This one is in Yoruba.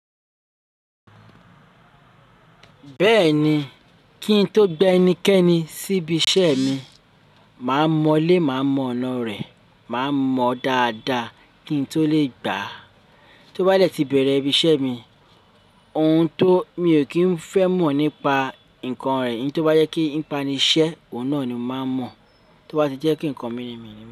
Bẹ́ẹ̀ni, kí n tó gbé ẹnikẹ́ni síbi iṣẹ́ mi, màá mọ lé, màá mọ ọ̀nà rẹ̀, màá mọ dáadáa kí n tó lè gbà á. Tó bá dẹ̀ tí bẹ̀rẹ̀ ibi iṣẹ́ mi, ohun tó mi ò kí ń fẹ́ mọ̀ nípa nǹkan rẹ̀, ní tó bá yẹ kí ń pa'niṣẹ́, òun náà ni màá mọ̀, tó bá ṣe jẹ́ kí ǹkan mí ni.